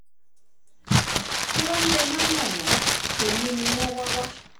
mo um wáá ní ẹ má um nà wọ́n èmi ni wọ́n wá wá